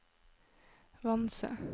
Vanse